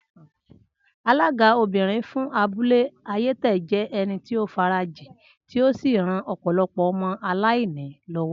Alága obìrin fún abúlé ayétè jé ẹni tí o farajin tí o sí ran ọpọlọpọ ọmọ aláìní lọwọ